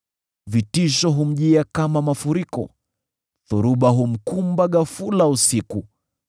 Vitisho humjia kama mafuriko; dhoruba humkumba ghafula usiku.